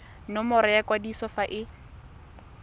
nomoro ya kwadiso fa e